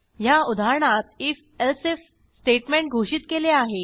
ह्या उदाहरणात if else if statement घोषित केले आहे